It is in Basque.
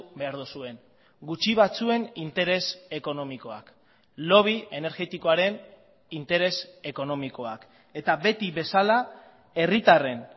behar duzuen gutxi batzuen interes ekonomikoak lobby energetikoaren interes ekonomikoak eta beti bezala herritarren